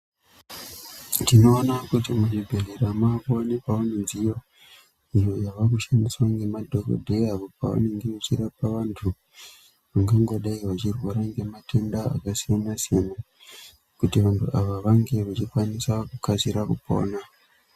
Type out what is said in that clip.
Tinoona kuti muzvibhedlera makuwanikawo midziyo iyo yavakushandiswa nemadhokodheya apo pavanenge vechirapa vantu vangangodai vachirwara ngematenda akasiyana siyana kuti vantu ava vange vachikwanisa kukasira kupona.